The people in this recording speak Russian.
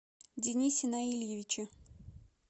денисе наильевиче